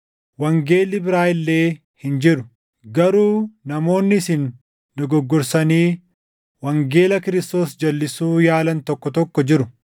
wangeelli biraa illee hin jiru. Garuu namoonni isin dogoggorsanii wangeela Kiristoos jalʼisuu yaalan tokko tokko jiru.